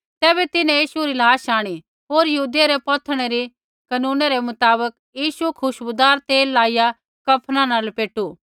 तैबै तिन्हैं यीशु री लाश आंणी होर यहूदियै रै पौथणै री कनूनै रै मुताबक यीशु खुशबूदार तेला लाइया कफना न लपेटू